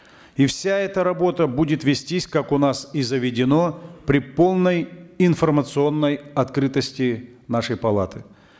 и вся эта работа будет вестись как у нас и заведено при полной информационной открытости нашей палаты